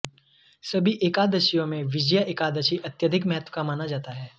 सभी एकादशियों में विजया एकादशी अत्यधिक महत्व का माना जाता है